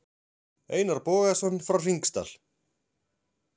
Einar Bogason frá Hringsdal.